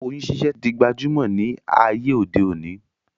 Oyún ṣiṣẹ́ tí di gbajúmọ̀ ní ayé òde òní